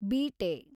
ಬೀಟೆ